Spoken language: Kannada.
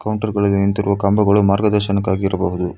ಕೌಂಟರ್ ಬಳಿ ನಿಂತಿರುವ ಕಂಬಗಳು ಮಾರ್ಗದರ್ಶನಕ್ಕಾಗಿರಬಹುದು.